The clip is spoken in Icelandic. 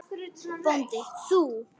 BÓNDI: Þú?